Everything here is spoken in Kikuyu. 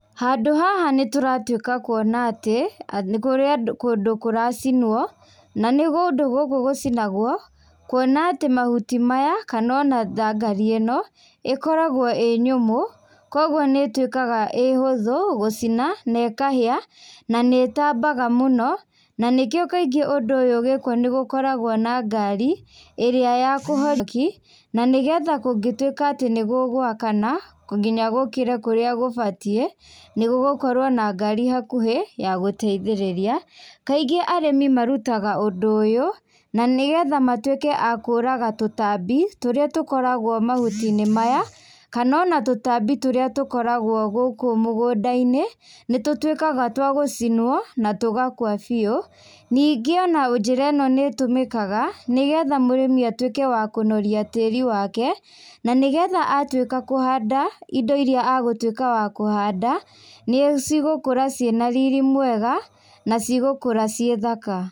Handũ haha nĩ tũratuĩka kuona atĩ, nĩ kũrĩ andũ kũndũ kũracinwo, na nĩ gũndũ gũkũ gũcinagwo, kuona atĩ mahuti maya, kana ona thangari ĩno, ĩkoragwo ĩĩ nyũmũ, kũguo nĩ ĩtuĩkaga ĩĩ hũthũ gũcina, na ĩkahĩa, na nĩ ĩtambaga mũno. Na nĩkĩo kaingĩ ũndũ ũyũ ũgĩkwo nĩ gũkoragwo na ngari, ĩrĩa ya kũhoria mwaki, na nĩgetha kũngĩtuĩka atĩ nĩ gũgũakana, nginya gũkĩre kũrĩa gũbatiĩ, nĩ gũgũkorwo na ngari hakuhĩ, ya gũteithĩrĩria. Kaingĩ arĩmi marutaga ũndũ ũyũ, na nĩgetha matuĩke a kũũraga tũtambi, tũrĩa tũkoragwo mahuti-inĩ maya, kana ona tũtambi tũrĩa tũkoragwo gũkũ mũgũnda-inĩ, nĩ tũtuĩkaga twa gũcinwo, na tũgakua biũ. Ningĩ ona njĩra ĩno nĩ ĩtũmĩkaga, nĩgetha mũrĩmi atuĩke wa kũnoria tĩri wake, na nĩgetha atuĩka kũhanda indo irĩa agatuĩka wa kũhanda, nĩ cigũkũra ciĩna riri mwega, na cigũkũra ciĩ thaka.